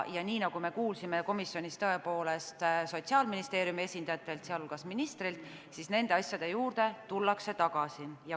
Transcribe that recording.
Nagu me kuulsime komisjonis Sotsiaalministeeriumi esindajatelt, sh ministrilt, tullakse nende asjade juurde veel tagasi.